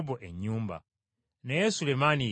Naye Sulemaani ye yagizimba.